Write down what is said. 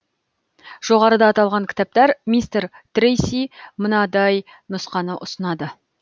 жоғарыда аталған кітапта мистер трейси мынадай нұсқаны ұсынады